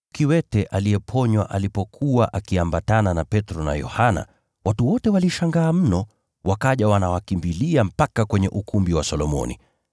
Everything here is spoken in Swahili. Aliyeponywa alipokuwa akiambatana na Petro na Yohana, watu wote walishangaa mno, wakaja wakiwakimbilia pale ukumbi wa Solomoni.